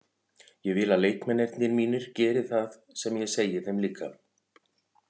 Ég vil að leikmennirnir mínir geri það sem ég segi þeim líka.